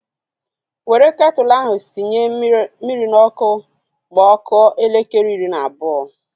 Were ketụlu ahu sinye mmiri n'ọkụ ma ọ kụọ elekere iri na abụọ!